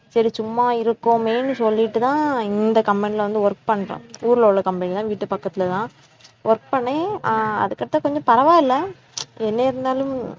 சரி சும்மா இருக்கோமேனு சொல்லிட்டுதான் இந்த company ல வந்து work பண்றேன். ஊர்ல உள்ள company லாம் வீட்டு பக்கத்துலதான் work பண்ணேன் ஆஹ் அதுக்கப்பறம் கொஞ்சம் பரவாயில்லை என்ன இருந்தாலும்